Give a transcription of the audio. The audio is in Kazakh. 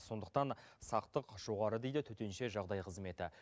сондықтан сақтық жоғары дейді төтенше жағдай қызметі